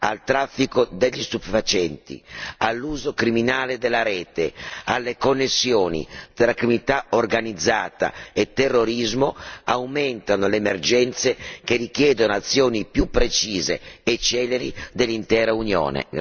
al traffico degli stupefacenti, all'uso criminale della rete, alle connessioni tra criminalità organizzata e terrorismo aumentano le emergenze che richiedono azioni più precise e celeri dell'intera Unione.